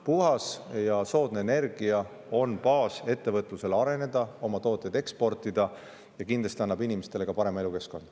Puhas ja soodne energia on baas ettevõtluse arenemiseks ja oma toodete eksportimiseks, kindlasti annab see ka inimestele parema elukeskkonna.